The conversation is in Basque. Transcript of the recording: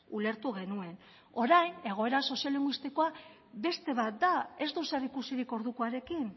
ulertu genuen orain egoera soziolinguistikoa beste bat ez du zer ikusirik ordukoarekin